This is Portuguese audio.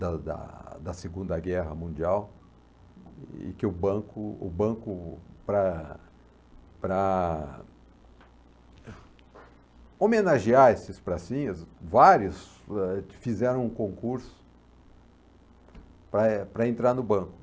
da da da Segunda Guerra Mundial, e que o banco, o banco para para homenagear esses pracinhas, vários ãh fizeram um concurso para para entrar no banco.